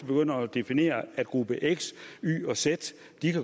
begynder at definere at gruppe x y og z